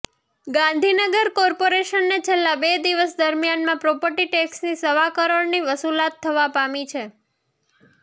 ગાંધીનગર કોર્પોરેશનને છેલ્લા બે દિવસ દરમિયાનમાં પ્રોપર્ટી ટેક્ષની સવા કરોડની વસુલાત થવા પામી છે